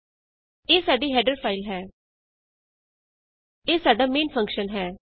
ਇਹ ਸਾਡੀ header file ਹੈ ਇਹ ਸਾਡਾ ਮੇਨ ਫੰਕਸ਼ਨ ਹੈ